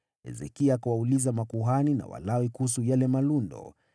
Hezekia akawauliza makuhani na Walawi kuhusu yale malundo,